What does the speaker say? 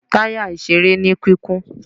ta ya ìseré ní kikún